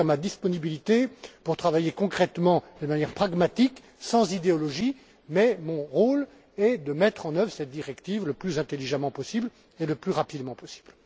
Je vous confirme ma disponibilité pour travailler concrètement, de manière pragmatique, sans idéologie, mais mon rôle est de mettre en œuvre cette directive le plus intelligemment possible et le plus rapidement possible.